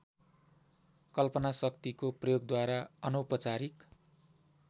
कल्पनाशक्तिको प्रयोगद्वारा अनौपचारिक